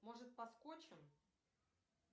может поскочим